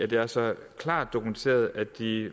det er så klart dokumenteret at de